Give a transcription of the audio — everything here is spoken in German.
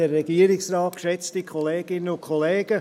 – Herr Graf, Sie haben das Wort.